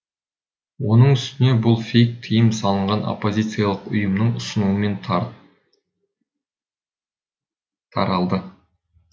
оның үстіне бұл фейк тиым салынған оппозициялық ұйымның ұсынуымен таралды